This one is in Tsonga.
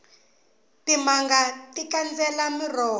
timanga ti kandzela miroho